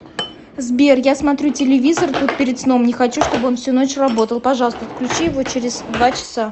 сбер я смотрю телевизор тут перед сном не хочу чтобы он всю ночь работал пожалуйста отключи его через два часа